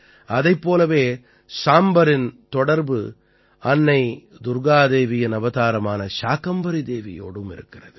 இதைப் போலவே சாம்பரின் தொடர்பு அன்னை துர்க்கா தேவியின் அவதாரமான சாகம்பரி தேவியோடும் இருக்கிறது